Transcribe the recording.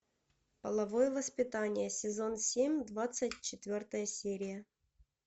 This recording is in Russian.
половое воспитание сезон семь двадцать четвертая серия